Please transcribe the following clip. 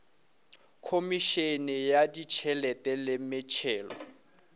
khomišene ya ditšhelete le metšhelo